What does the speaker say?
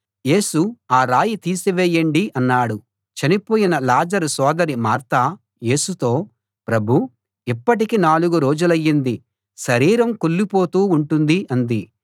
యేసు ఆ రాయి తీసి వెయ్యండి అన్నాడు చనిపోయిన లాజరు సోదరి మార్త యేసుతో ప్రభూ ఇప్పటికి నాలుగు రోజులయ్యింది శరీరం కుళ్ళిపోతూ ఉంటుంది అంది